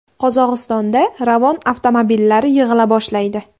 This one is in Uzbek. Qozog‘istonda Ravon avtomobillari yig‘ila boshlaydi .